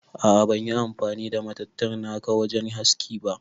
A'a ban yi amfani da matattara naka wajen haski ba.